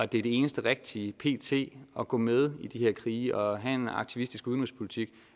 det er det eneste rigtige pt at gå med i de her krige og have en aktivistisk udenrigspolitik